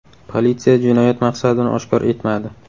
Politsiya jinoyat maqsadini oshkor etmadi.